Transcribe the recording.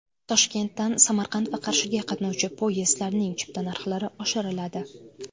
Toshkentdan Samarqand va Qarshiga qatnovchi poyezdlarning chipta narxlari oshiriladi.